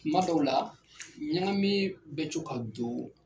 Kuma dɔw la ɲagami bɛ co ka don